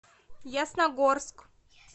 ясногорск